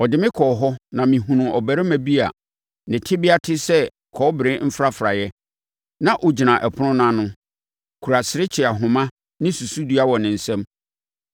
Ɔde me kɔɔ hɔ na mehunuu ɔbarima bi a ne tebea te sɛ kɔbere mfrafraeɛ; na ɔgyina ɔpono no ano, kura serekye ahoma ne susudua wɔ ne nsam.